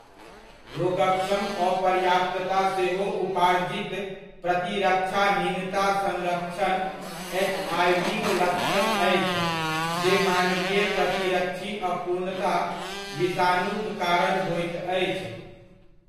रोगक्षम अपर्याप्तता सेहो उपार्जित प्रतिरक्षा हीनता संलक्षण, एचआइवी'क लक्षण अछि जे मानवीय प्रतिरक्षी अपूर्णता विषाणुक कारण होइत अछि।